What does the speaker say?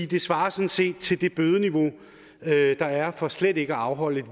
det svarer sådan set til det bødeniveau der er for slet ikke at afholde